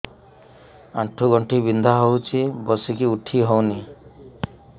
ଆଣ୍ଠୁ ଗଣ୍ଠି ବିନ୍ଧା ହଉଚି ବସିକି ଉଠି ହଉନି